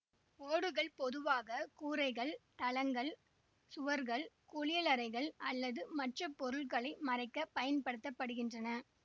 ஓடுகள் பொதுவாக கூரைகள் தளங்கள் சுவர்கள் குளியலறைகள் அல்லது மற்ற பொருட்களை மறைக்க பயன்படுத்த படுகின்றன